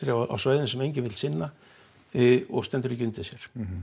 á svæðum sem enginn vill sinna og stendur ekki undir sér